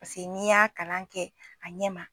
Paseke n'i y'a kalan kɛ a ɲɛma